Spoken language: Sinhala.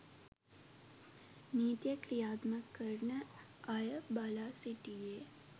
නීතිය ක්‍රියාත්මක කරන අය බලා සිටියේ